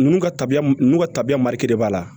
N'u ka tabiya n'u ka tabiya mara de b'a la